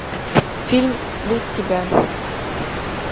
фильм без тебя